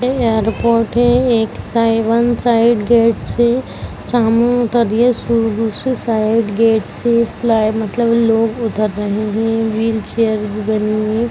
ये एयरपोर्ट है एक साई वन साइड गेट से सामान उतर रही है दूसरी साइड गेट से प्लाई मतलब लोग उतर रहें हैं व्हीलचेअर भी बनी हुई है।